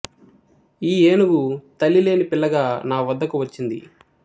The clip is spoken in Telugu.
ఈ ఏనుగు తల్లి లేని పిల్లగా నా వద్దకు వచ్చింది